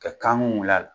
Ka kan wul'a la